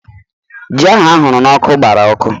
Ji ahụ ahụrụ n'ọkụ gbara ọkụ